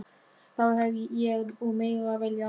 Þá hef ég úr meiru að velja.